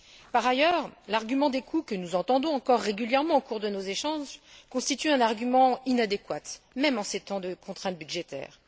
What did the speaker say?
Par ailleurs, l'argument des coûts, que nous entendons encore régulièrement au cours de nos échanges, constitue un argument inadéquat, même en ces temps de contraintes budgétaires.